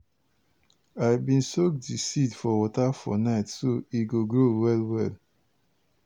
i bin soak di seeds for water for night so e go grow well well.